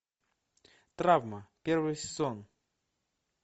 травма первый сезон